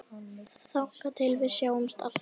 Þangað til við sjáumst aftur.